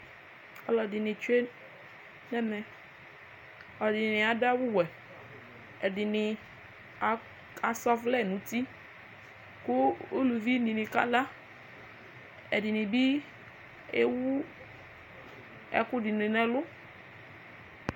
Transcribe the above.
Aluɛdini tsue nɛmɛ ɛdini adu awu wɛ ɛdini asa ɔvlɛ nu uti ku uluvi dini kala ɛdini bi ewu ɛkudini nu ɛlu